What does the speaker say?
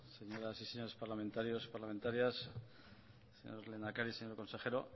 señoras y señores parlamentarios parlamentarias señor lehendakari señor consejero